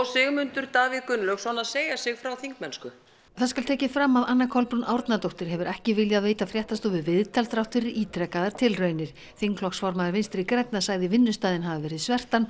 Sigmundur Davíð Gunnlaugsson að segja sig frá þingmennsku það skal tekið fram að Anna Kolbrún Árnadóttir hefur ekki viljað veita fréttastofu viðtal þrátt fyrir ítrekaðar tilraunir þingflokksformaður Vinstri grænna sagði vinnustaðinn hafa verið